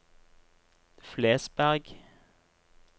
Flesberg